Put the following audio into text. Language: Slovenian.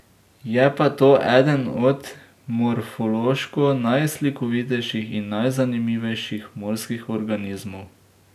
Je pa to eden od morfološko najslikovitejših in najzanimivejših morskih organizmov.